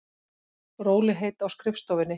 Rólegheit á skrifstofunni.